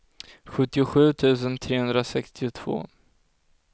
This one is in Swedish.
sjuttiosju tusen trehundrasextiotvå